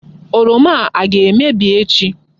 Oroma a aga-emebi echi?